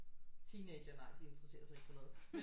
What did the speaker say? Teenagere nej de interesserer sig ikke for noget men